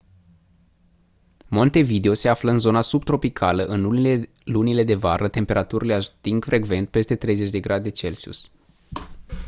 montevideo se află în zona subtropicală; în lunile de vară temperaturile ating frecvent peste 30°c